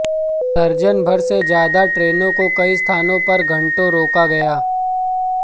दर्जन भर से ज्यादा ट्रेनों को कई स्थानों पर घंटों रोका गया